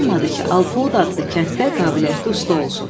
İnanmadı ki, Alpoud adlı kənddə qabiliyyətli usta olsun.